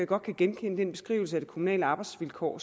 godt kan genkende den beskrivelse af de kommunale arbejdsvilkår